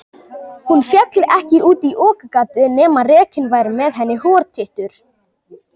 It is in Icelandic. hún féll ekki út í okagatið nema rekinn væri með henni hortittur